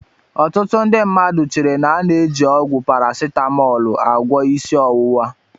Ọtụtụ ndị mmadụ chere na a na-eji ọgwụ parasitamọọlụ agwọọ isi ọwụwa.